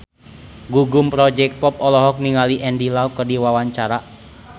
Gugum Project Pop olohok ningali Andy Lau keur diwawancara